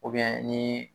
ni